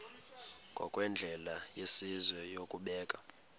ngokwendlela yesizwe yokubeka